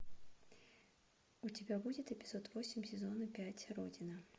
у тебя будет эпизод восемь сезона пять родина